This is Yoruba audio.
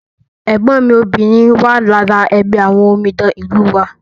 ẹ̀gbọ́n mi obìnrin wà lára ẹgbẹ́ àwọn omidan ìlú wa